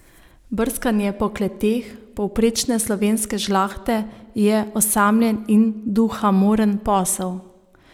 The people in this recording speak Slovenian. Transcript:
Brskanje po kleteh povprečne slovenske žlahte je osamljen in duhamoren posel.